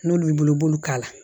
N'olu y'i bolo i b'olu k'a la